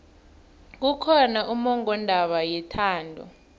kukhona ummongondaba yethando